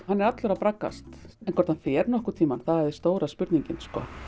hann er allur að braggast hvort hann fer einhvern tímann það er stóra spurningin